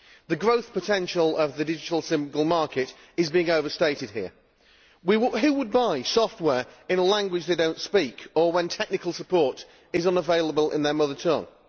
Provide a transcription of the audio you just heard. The growth potential of the Digital Single Market is being overstated here. Who would buy software in a language they do not speak or when technical support is unavailable in their mother tongue?